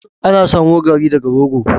Ana samo Garri daga rogo.